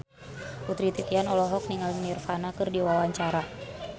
Putri Titian olohok ningali Nirvana keur diwawancara